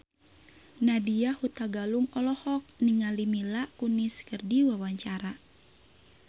Nadya Hutagalung olohok ningali Mila Kunis keur diwawancara